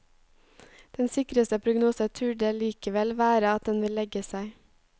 Den sikreste prognose turde likevel være at den vil legge seg.